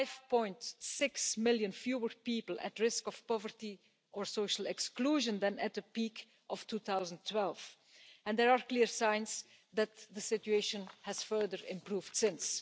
5.6 million fewer people at risk of poverty or social exclusion than at the peak of 2012, and there are clear signs that the situation has further improved since.